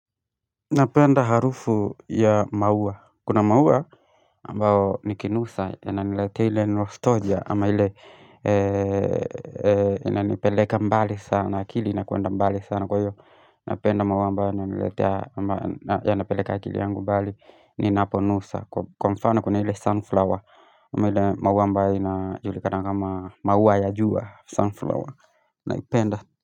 Napenda harufu ya maua kuna maua ambao nikinusa yananilete ile nostalgia ama ile inanipeleka mbali sana akili inakwenda mbali sana kwa iyo Napenda maua ambayo yananiletea ama yanapeleka akili yangu mbali ninaponusa Kwa mfano kuna ile sunflower ama ile maua ambayo inajulikana kama maua ya jua sunflower naipenda.